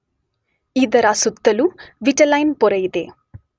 ಇದರ ಸುತ್ತಲೂ ವಿಟಲೈನ್ ಪೊರೆಯಿದೆ.